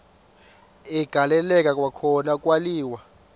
agaleleka kwakhona kwaliwa